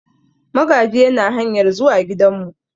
Magaji yana hanyar zuwa gidanmu.